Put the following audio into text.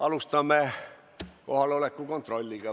Alustame kohaloleku kontrolliga.